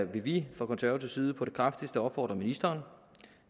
vi fra konservativ side på det kraftigste opfordre ministeren